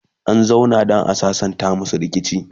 an zauna dan a sassanta masu rikici